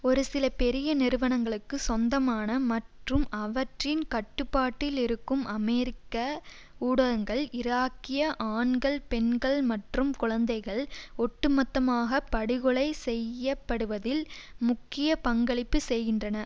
ஒரு சில பெரிய நிறுவனங்களுக்கு சொந்தமான மற்றும் அவற்றின் கட்டுப்பாட்டில் இருக்கும் அமெரிக்க ஊடகங்கள் இராக்கிய ஆண்கள் பெண்கள் மற்றும் குழந்தைகள் ஒட்டுமொத்தமாக படுகொலை செய்யப்படுவதில் முக்கிய பங்களிப்பு செய்கின்றன